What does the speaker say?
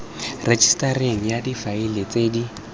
rejisetareng ya difaele tse di